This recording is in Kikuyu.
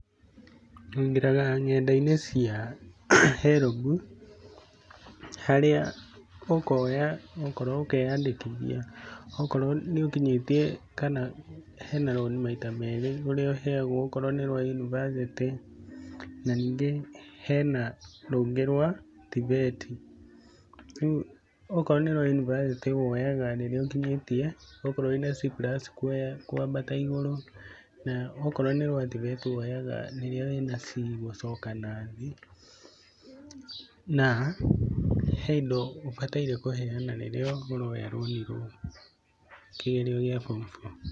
Ũingĩraga ng'enda-inĩ cia HELB harĩa ũkoya okorwo ũkeyandĩkithia, okorwo nĩ ũkinyĩtie kana hena rũni maita merĩ, rũrĩa ũheogwo okorwo nĩ rwa yunibacĩtĩ. Na ningĩ hena rũngĩ rwa TVET. Rĩu okorwo nĩ rwa yunibacĩti woyaga rĩrĩa ũkinyĩtie, okorwo wĩna C+ kuoya, kwambata igũrũ, na okorwo nĩ rwa TVET woyaga rĩrĩa wĩna C gũcoka nathĩ. Na hena indo ũbatiĩ kũheana rĩrĩa ũroya rũni rũu kĩgerio gĩa form four.